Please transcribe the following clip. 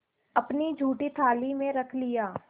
अपनी जूठी थाली में रख लिया